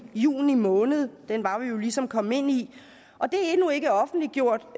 juni måned den var vi jo ligesom kommet ind i og det er endnu ikke offentliggjort